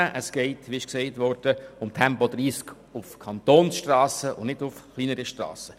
Es geht, wie gesagt worden ist, um Tempo 30 auf Kantonsstrassen und nicht auf kleineren Strassen.